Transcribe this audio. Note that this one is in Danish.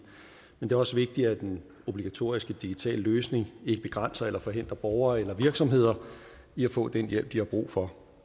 men det er også vigtigt at den obligatoriske digitale løsning ikke begrænser eller forhindrer borgere eller virksomheder i at få den hjælp de har brug for